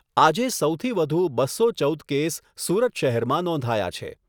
આજે સૌથી વધુ બસો ચૌદ કેસ સુરત શહેરમાં નોંધાયા છે.